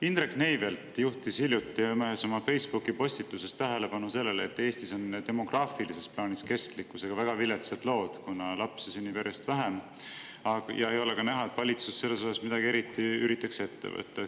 Indrek Neivelt juhtis hiljuti ühes oma Facebooki postituses tähelepanu sellele, et Eestis on kestlikkusega demograafilises plaanis väga viletsad lood, kuna lapsi sünnib järjest vähem ja ei ole ka näha, et valitsuses üritatakse eriti selles osas midagi ette võtta.